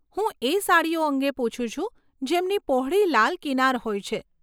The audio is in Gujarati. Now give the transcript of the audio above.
હું એ સાડીઓ અંગે પુછું છું, જેમની પહોળી લાલ કિનાર હોય છે.